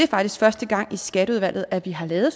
faktisk første gang i skatteudvalget at vi har lavet